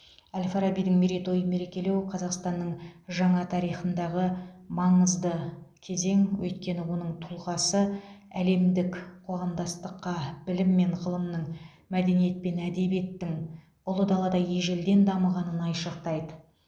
әл фарабидің мерейтойын мерекелеу қазақстанның жаңа тарихындағы маңызды кезең өйткені оның тұлғасы әлемдік қоғамдастыққа білім мен ғылымның мәдениет пен әдебиеттің ұлы далада ежелден дамығанын айшықтайды